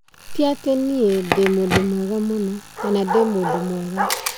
Tĩ atĩ niĩ ndĩ mwega mũno kana ndĩ mũndũ mwega